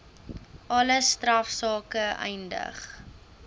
alle strafsake eindig